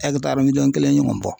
kelen ɲɔgɔn bɔ.